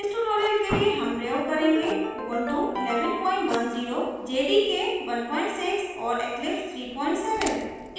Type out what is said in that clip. इस tutorial के लिए हम प्रयोग करेंगे